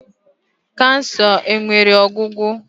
Kansa enwere ọgwụgwo?